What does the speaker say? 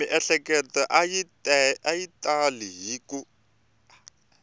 miehleketo a yi tali ku